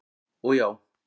og já.